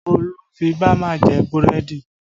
Olu fi bama jẹ búrẹ́dì